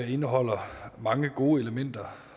indeholder mange gode elementer